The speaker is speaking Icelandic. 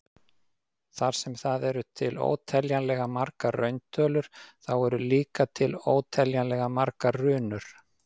Þar sem það eru til óteljanlega margar rauntölur, þá eru líka til óteljanlega margar runur.